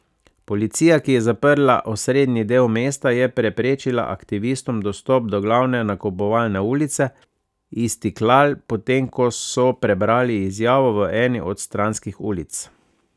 Policija, ki je zaprla osrednji del mesta, je preprečila aktivistom dostop do glavne nakupovalne ulice Istiklal, potem ko so prebrali izjavo v eni od stranskih ulic.